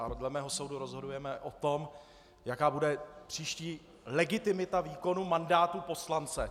A dle mého soudu rozhodujeme o tom, jaká bude příští legitimita výkonu mandátu poslance.